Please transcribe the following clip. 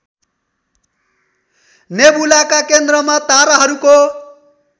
नेबुलाका केन्द्रमा ताराहरूको